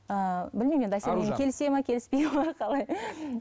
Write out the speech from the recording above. ыыы білмеймін енді әсел келіседі ме келіспейді ме қалай